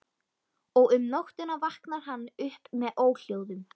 Og um nóttina vaknar hann upp með óhljóðum.